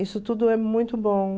Isso tudo é muito bom.